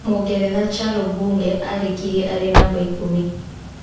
Mũngeretha Charo Bunge arĩkirie arĩ namba ikũmi.